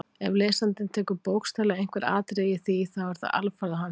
Ef lesandinn tekur bókstaflega einhver atriði í því þá er það alfarið á hans ábyrgð.